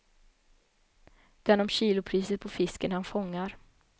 Den om kilopriset på fisken han fångar.